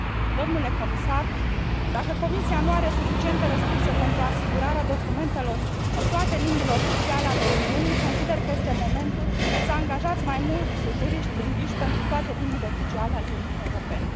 Domnule comisar, dacă Comisia nu are suficiente resurse pentru asigurarea documentelor în toate limbile oficiale ale Uniunii, consider că este momentul să angajați mai mulți juriști lingviști pentru toate limbile oficiale ale Uniunii Europene.